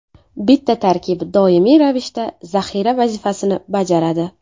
Bitta tarkib doimiy ravishda zaxira vazifasini bajaradi.